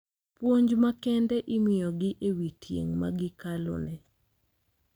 Puonj makende imiyogi e wi tieng` magikaleno.